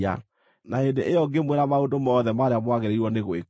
Na hĩndĩ ĩyo ngĩmwĩra maũndũ mothe marĩa mwagĩrĩirwo nĩ gwĩka.